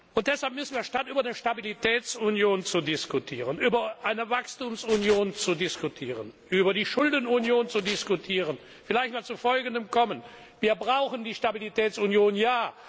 Und deshalb müssen wir statt über die Stabilitätsunion zu diskutieren, über eine Wachstumsunion zu diskutieren, über die Schuldenunion zu diskutieren, vielleicht mal zu folgendem Schluss kommen Wir brauchen die Stabilitätsunion, ja!